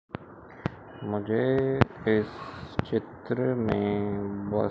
मुझे इस चित्र में ब--